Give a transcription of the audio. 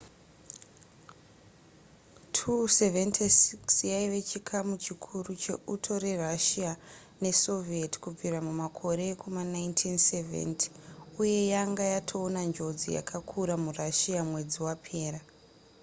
il-76 yaive chikamu chikuru cheuto rerussia nesoviet kubvira mumakore ekuma 1970 uye yanga yatoona njodzi yakakura murussia mwedzi wapera